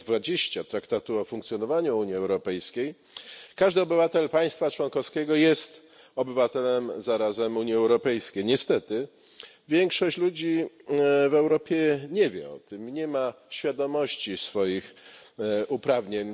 20 Traktatu o funkcjonowaniu Unii Europejskiej każdy obywatel państwa członkowskiego jest obywatelem zarazem Unii Europejskiej. Niestety większość ludzi w Europie nie wie o tym, nie ma świadomości swoich uprawnień.